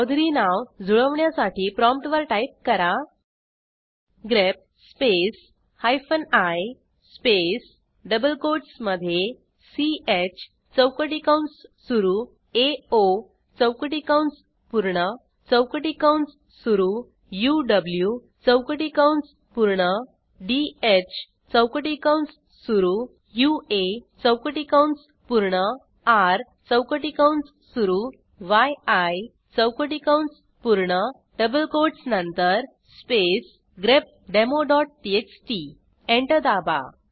चौधुर्य नाव जुळवण्यासाठी प्रॉम्प्टवर टाईप कराः grep space hyphen I space double कोटसमधे च चौकटी कंस सुरू एओ चौकटी कंस पूर्ण चौकटी कंस सुरू उव चौकटी कंस पूर्ण ध चौकटी कंस सुरू यूए चौकटी कंस पूर्ण र चौकटी कंस सुरू यी चौकटी कंस पूर्ण डबल कोटस नंतर स्पेस grepdemoटीएक्सटी एंटर दाबा